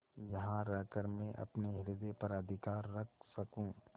यहाँ रहकर मैं अपने हृदय पर अधिकार रख सकँू